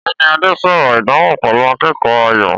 Ọ̀gbẹ́ni Adé sọ̀rọ̀ ìdánwò pẹ̀lú akẹ́kọ̀ọ́ Ayọ̀.